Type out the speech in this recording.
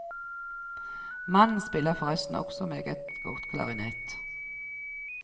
Mannen spiller forresten også meget godt klarinett.